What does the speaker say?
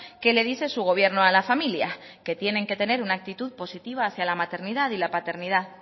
qué le dice su gobierno a las familias que tienen que tener una actitud positiva hacia la maternidad y la paternidad